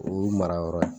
O ye marayɔrɔ ye